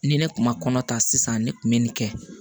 Ni ne kun ma kɔnɔ ta sisan ne kun be nin kɛ